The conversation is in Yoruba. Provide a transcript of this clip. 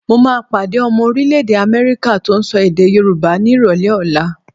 Mo máa pàdé ọmọ orílẹ̀-èdè Amẹ́ríkà tó ń sọ èdè Yorùbá ni ìrọ̀lẹ́ ọ̀la.